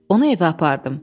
Onu evə apardım.